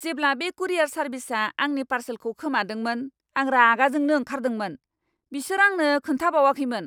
जेब्ला बे कुरियार सार्भिसआ आंनि पार्सेलखौ खोमादोंमोन, आं रागा जोंनो ओंखारदोंमोन, बिसोर आंनो खोन्थाबावाखैमोन!